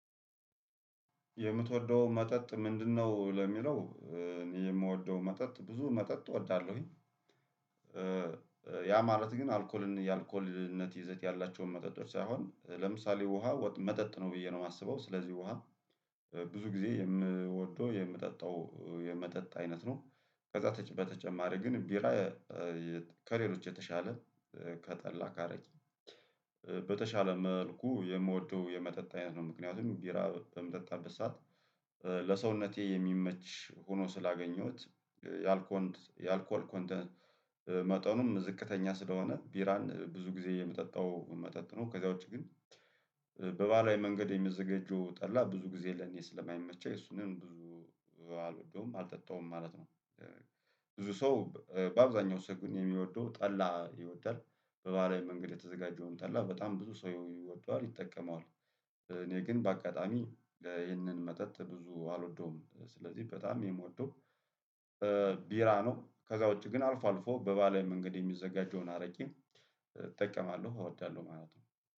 የምትወደው መጠጥ ምንድነው? ለሚለው እኔ የምወደው መጠጥ ብዙ መጠጥ እወዳለሁኝ። ያ ማለት ግን አልኮልን የአልኮልነት ይዘት ያላቸውን መጠጦች ሳይሆን ለምሳሌ ውሃ መጠጥ ነው ብዬ ነው የማስበው ስለዚህ ውሃ ብዙ ጊዜ የምወደው የምጠጣው የመጠጥ አይነት ነው። ከዛ በተጨማሪ ግን ቢራ ከሌሎች የተሻለ ከጠላ ከአረቂ በተሻለ መልኩ የምወደው የመጠጥ አይነት ነው። ምክንያቱም ቢራ በምጠጣበት ሰዓት ለሰውነቴ የሚመች ሆኖ ስላገኘሁት የአል ኮል ኮንተንት መጠኑም ዝቅተኛ ስለሆነ ቢራን ብዙ ጊዜ የምጠጣው መጠጥ ነው። ከዚያ ውጭግን በባህላዊ መንገድ የሚዘጋጀው ጠላ ብዙ ጊዜ ለኔ ስለማይመቸፕን እሱንን ብዙ አልወደውም አል አጠጣውም ማለት ነው። ብዙ ሰው በአብዛኛው ሰው ግን የሚወደው ጠላ ይወዳል በባህላዊ መንገድ የተዘጋጀውን ጠላ በጣም ብዙ ሰው ይወደዋል ይጠቀመዋል። እኔ ግን በአጋጣሚ ይህንን መጠጥ ብዙ አልወደውም ስለዚህ በጣም የምወደው ቢራ ነው። ከዛ ውጪ ግን አልፎ አልፎ በባህላዊ መንገድ የሚዘጋጀውን አረቂም እጠቀማለሁ እወዳለሁ ማለት ነው።